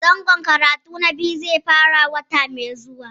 Zangon karatu na biyu zai fara wata mai zuwa